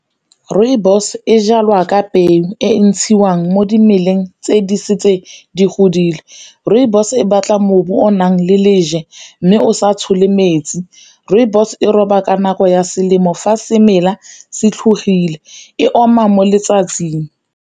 Rooibos e jalwa ka peo e ntshiwang mo dimeleng tse di setse di godile, rooibos e batla o nang le leje mme o sa tshole metsi, rooibos e roba ka nako ya selemo fa semela se tlhobogile e oma mo letsatsing.